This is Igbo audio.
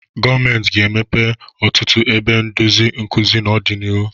Gọọmenti ga-emepe ọtụtụ ebe ndozi nkuzi n'ọdịnihu.